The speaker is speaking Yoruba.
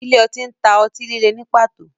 Ile-oti ǹ ta o ọti-lile ni pato